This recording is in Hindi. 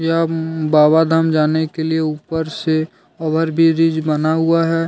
बाबा धाम जाने के लिए ऊपर से ओवर ब्रिज विज बना हुआ है।